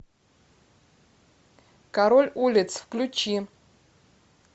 король улиц включи